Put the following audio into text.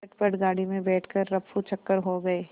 झटपट गाड़ी में बैठ कर ऱफूचक्कर हो गए